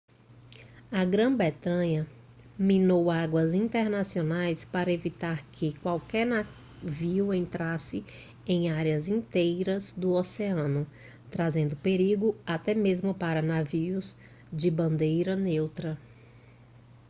a grã-bretanha minou águas internacionais para evitar que qualquer navio entrasse em áreas inteiras do oceano trazendo perigo até mesmo para navios de bandeira neutra